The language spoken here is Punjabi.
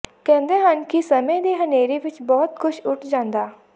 ਕਹਿੰਦੇ ਹਨ ਕਿ ਸਮੇਂ ਦੀ ਹਨ੍ਹੇਰੀ ਵਿੱਚ ਬਹੁਤ ਕੁੱਝ ਉੱਡ ਜਾਂਦਾ